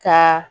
Ka